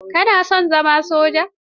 Ka na son zama soja?